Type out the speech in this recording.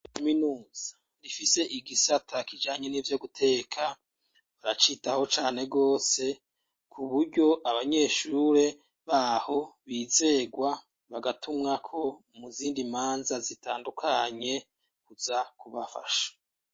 Kaminuzi rifise igisata kijanye n'ivyo guteka baracitaho cane gose kuburyo abanyeshure baho bizegwa bagatumwako mu zindimanza zitandukanye kuza kubafasha